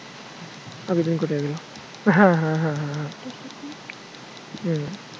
আবেদন